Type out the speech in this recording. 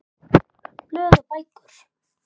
Blöð og bækur